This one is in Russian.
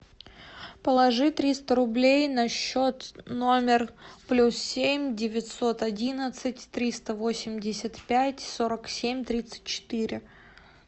положи триста рублей на счет номер плюс семь девятьсот одиннадцать триста восемьдесят пять сорок семь тридцать четыре